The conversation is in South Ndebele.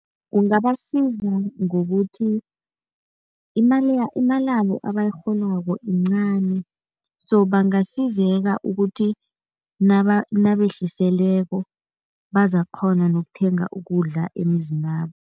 Kungabasiza ngokuthi imalabo abayirholako yincani so bangasizeka ukuthi nabehliselweko bazakukghona nokuthenga ukudla emizinabo.